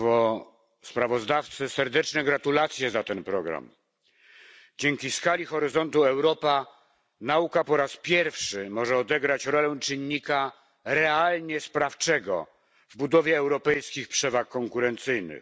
Państwo Sprawozdawcy! Serdeczne gratulacje za ten program. Dzięki skali Horyzontu Europa nauka po raz pierwszy może odegrać rolę czynnika realnie sprawczego w budowie europejskich przewag konkurencyjnych.